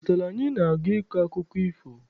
Ọnwa aputala, anyị na-aga ịkọ akụkọ ifo.